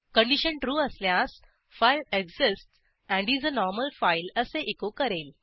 condition true असल्यास file exists and is a normal file असे echo करेल